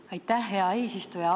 Aitäh, hea eesistuja!